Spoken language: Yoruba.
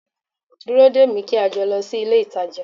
Dúró dè mí kí a jọ lọ sí ilé-ìtàjà